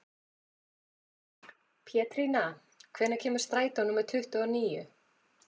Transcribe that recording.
Pétrína, hvenær kemur strætó númer tuttugu og níu?